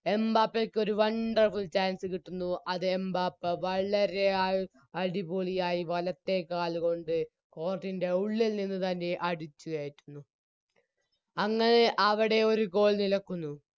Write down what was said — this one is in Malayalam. എംബാപ്പാക്ക് ഒര് Wonderful chance കിട്ടുന്നു അത് എംബാപ്പ വളരെ ആഴ് അടിപൊളിയായി വലത്തേകാലുകൊണ്ട് Court ൻറെ ഉള്ളിൽ നിന്ന് തന്നെ അടിച്ചുകയറ്റുന്നു അങ്ങനെ അവിടെ ഒരു Goal നിലക്കുന്നു